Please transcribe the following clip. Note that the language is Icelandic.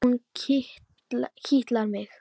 Hún kitlar mig!